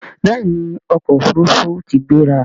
béèni ọkọ òfurufú tí gbéra.